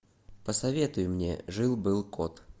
посоветуй мне жил был кот